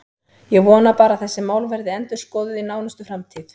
Ég vona bara að þessi mál verði endurskoðuð í nánustu framtíð.